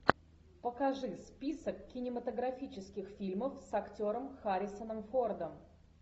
покажи список кинематографических фильмов с актером харрисоном фордом